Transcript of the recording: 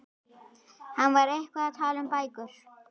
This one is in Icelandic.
Hann var eitthvað að tala um bækur.